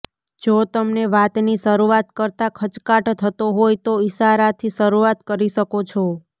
જો તમને વાતની શરૂઆત કરતા ખચકાટ થતો હોય તો ઇશારાથી શરૂઆત કરી શકો છો